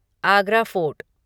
Agra fort